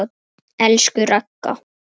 Elsku Ragga.